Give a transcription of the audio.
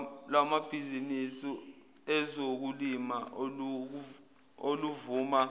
lwamabhizinisi ezokulima oluvuna